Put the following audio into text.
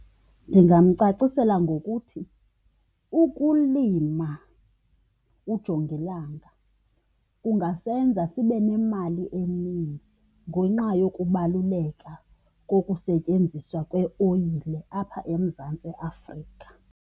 Ndingamcacisela ngokuthi ukulima ujongilanga kungasenza sibe nemali eninzi ngenxa yokubaluleka kokusetyenziswa kweoyile apha eMzantsi Afrika.